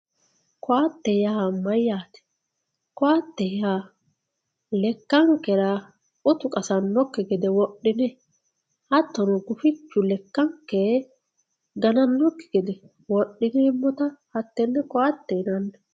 koatte yaa maayate koatte yaa lekankera uttu qasanoki gede wodhine hatono gufichu lekanke gananoki gede wodhinemotta hatene koate yinanni